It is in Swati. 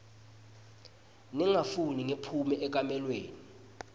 ningafuni ngiphume ekamelweni